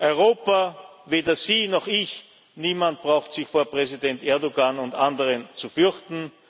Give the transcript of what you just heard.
Europa weder Sie noch ich, niemand braucht sich vor Präsident Erdoğan oder anderen nicht zu fürchten.